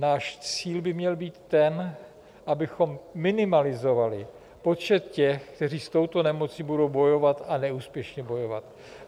Náš cíl by měl být ten, abychom minimalizovali počet těch, kteří s touto nemocí budou bojovat, a neúspěšně bojovat.